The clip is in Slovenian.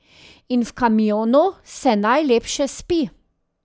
In v kamionu se najlepše spi.